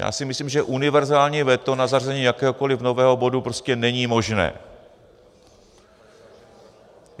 Já si myslím, že univerzální veto na zařazení jakéhokoliv nového bodu prostě není možné.